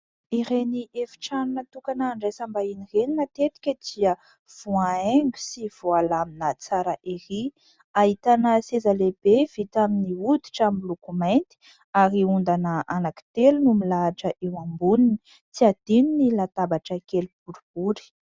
Ireny efi-trano natokana handraisam-bahiny ireny matetika dia voahaingo sy voalamina tsara erỳ. Ahitana seza lehibe vita amin'ny hoditra miloko mainty ary ondana anankitelo no milahatra eo amboniny. Tsy hadino ny latabatra kely boribory.